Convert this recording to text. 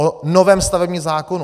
O novém stavebním zákonu.